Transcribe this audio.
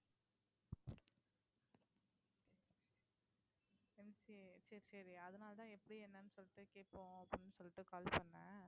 MCA சரி சரி அதனாலதான் எப்படி என்னன்னு சொல்லிட்டு கேட்போம் அப்படின்னு சொல்லிட்டு call பண்ணேன்